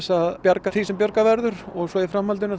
að bjarga því sem bjargað verður og í framhaldinu